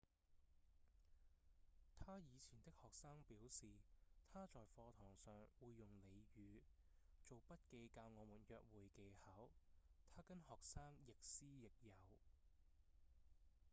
他以前的學生表示：「他在課堂上會用俚語做筆記教我們約會技巧他跟學生亦師亦友」